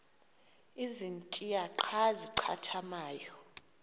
ezintia xa zincathamayo